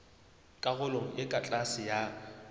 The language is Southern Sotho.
karolong e ka tlase ya